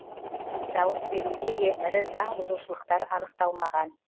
дауыс беруде де ірі заң бұзушылықтар анықталмаған